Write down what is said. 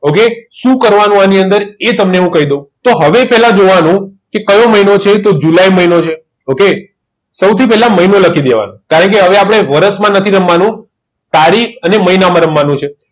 okay સુ કરવાનું આની અંદર એ તમને હું કઈ દવ તો હવે પેલા જોવાનું કે કયો મહિનો છે તો જુલાઈ મહિનો છે okay સવુથી પેલા મહિનો લખી દેવાનો કારણ કે આપદે આવે વરસ માં નથી રમવાનું તારીખ અને માહિનામાં રમવાનુ છે